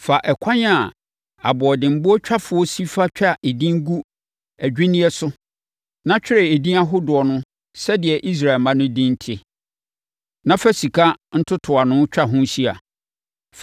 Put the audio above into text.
Fa ɛkwan a aboɔdenboɔtwafoɔ si fa twa edin gu adwinneɛ so, na twerɛ edin ahodoɔ no sɛdeɛ Israel mma no din te, na fa sika ntotoano twa ho hyia.